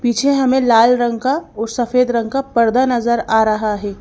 पीछे हमें लाल रंग का और सफेद रंग का पर्दा नजर आ रहा है।